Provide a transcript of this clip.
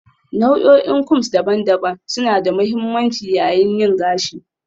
Nau'o'in combs daban-daban suna da mahimmanci yayin yin gashi